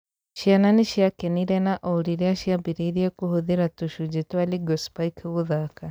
Ciana nĩciakenire na o rĩrĩa ciambĩrĩirie kũhũthĩra tũcunjĩ twa Lego Spike gũthaka